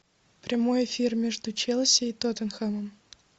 прямой эфир между челси и тоттенхэмом